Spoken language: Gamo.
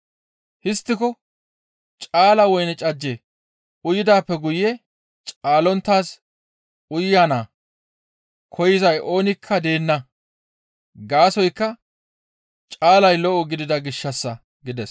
Histtiko caala woyne cajje uyidaappe guye caalonttaaz uyana koyzay oonikka deenna gaasoykka caalay lo7o gidida gishshassa» gides.